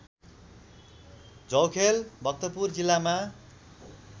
झौखेल भक्तपुर जिल्लामा